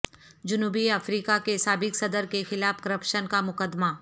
جنوبی افریقہ کے سابق صدر کے خلاف کرپشن کا مقدمہ